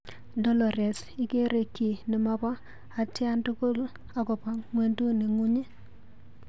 Dolores, ikere kiiy nemobo atyandukul akobo ng'wenduni ng'ung.